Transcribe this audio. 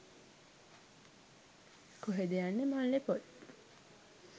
කොහෙද යන්නේ මල්ලේ පොල්.